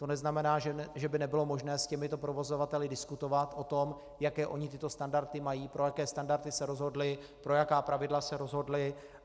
To neznamená, že by nebylo možné s těmito provozovateli diskutovat o tom, jaké oni tyto standardy mají, pro jaké standardy se rozhodli, pro jaká pravidla se rozhodli.